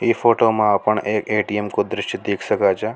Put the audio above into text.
इ फोटो में अपन एक ए_टी_एम को द्रश्य देख सका छ।